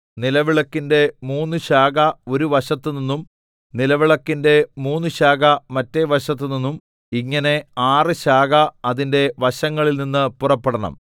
നിലവിളക്കിന്റെ മൂന്ന് ശാഖ ഒരു വശത്തുനിന്നും നിലവിളക്കിന്റെ മൂന്ന് ശാഖ മറ്റെ വശത്ത് നിന്നും ഇങ്ങനെ ആറ് ശാഖ അതിന്റെ വശങ്ങളിൽനിന്ന് പുറപ്പെടണം